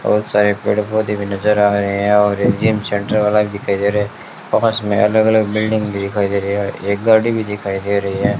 बहुत सारे पेड़ पौधे भी नजर आ रहे हैं और रिमझिम सेंटर वाला दिखाई दे रहा है पास में अलग अलग बिल्डिंग दिखाई दे रही है और एक गाड़ी भी दिखाई दे रही है।